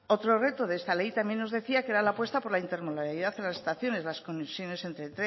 otro reto de esta ley también nos decía que era la apuesta por la intermodalidad en las estaciones la conexión entre tren